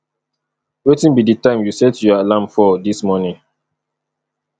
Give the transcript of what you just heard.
wetin be di time you set your alarm for dis morning